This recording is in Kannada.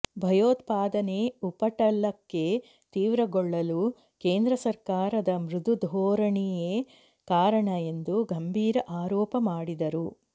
ಭಯೋತ್ಪಾದನೆ ಉಪಟಳಕ್ಕೆ ತೀವ್ರಗೊಳ್ಳಲು ಕೇಂದ್ರ ಸರ್ಕಾರದ ಮೃದು ಧೋರಣೆಯೇ ಕಾರಣ ಎಂದು ಗಂಭೀರ ಆರೋಪ ಮಾಡಿದರು